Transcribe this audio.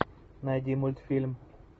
найди мультфильм